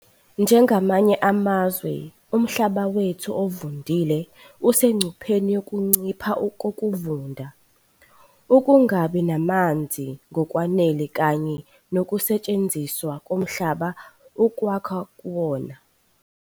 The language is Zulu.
Njengamanye amazwe, umhlaba wethu ovundile usengcupheni yokuncipha kokuvunda, ukungabi namanzi ngokwanele kanye nokusetshenziswa komhlaba ukwakha kuwona.